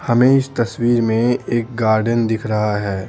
हमें इस तस्वीर में एक गार्डन दिख रहा है।